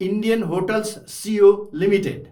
Indian Hotels Co Ltd